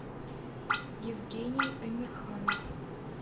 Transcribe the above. евгений эмирханов